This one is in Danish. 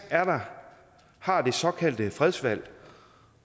har det såkaldte fredsvalg